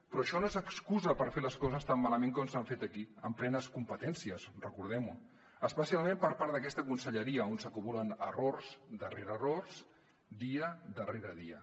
però això no és excusa per fer les coses tan malament com s’han fet aquí amb plenes competències recordem ho especialment per part d’aquesta conselleria on s’acumulen errors darrere errors dia rere dia